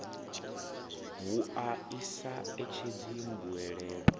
wua i sa etshedzi mbuelo